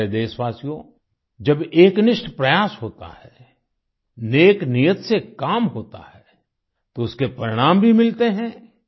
मेरे प्यारे देशवासियो जब एक निष्ठ प्रयास होता है नेक नियत से काम होता है तो उसके परिणाम भी मिलते हैं